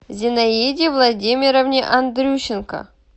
зинаиде владимировне андрющенко